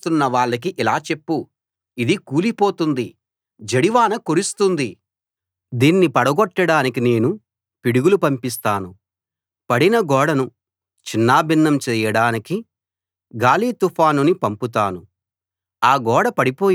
గోడకి సున్నం వేస్తున్న వాళ్ళకి ఇలా చెప్పు ఇది కూలిపోతుంది జడివాన కురుస్తుంది దీన్ని పడగొట్టడానికి నేను పిడుగులు పంపిస్తాను పడిన గోడను చిన్నాభిన్నం చేయడానికి గాలి తుఫానుని పంపుతాను